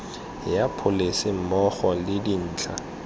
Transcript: ya pholese mmogo le dintlha